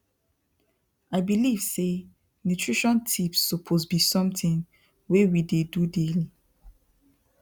i believe say nutrition tips suppose be something wey we dey do daily